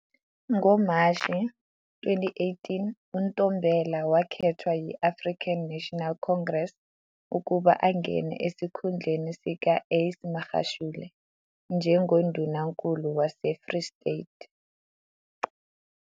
NgoMashi 2018, uNtombela wakhethwa yi-African National Congress ukuba angene esikhundleni sika-Ace Magashule njengoNdunankulu waseFree State.